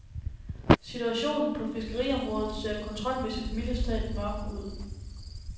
Situationen på fiskeriområdet ser kontrolmæssigt mildest talt mørk ud.